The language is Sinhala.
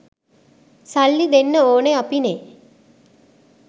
සල්ලි දෙන්න ඕනෙ අපිනේ